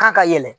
K'a ka yɛlɛ